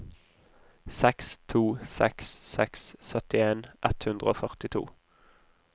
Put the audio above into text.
seks to seks seks syttien ett hundre og førtito